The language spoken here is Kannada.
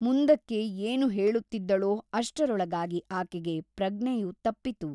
ಮುಂದಕ್ಕೆ ಏನು ಹೇಳುತ್ತಿದ್ದಳೋ ಅಷ್ಟರೊಳಗಾಗಿ ಆಕೆಗೆ ಪ್ರಜ್ಞೆಯು ತಪ್ಪಿತು.